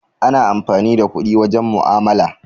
Ana amfani da kuɗi wajen mu'amala.